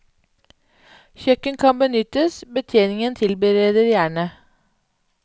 Kjøkken kan benyttes, betjeningen tilbereder gjerne.